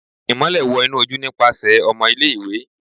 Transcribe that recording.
Imọlẹ wọ inu oju nipasẹ ọmọ ile-iwe